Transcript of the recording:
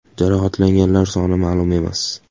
Jarohatlanganlar soni ma’lum emas.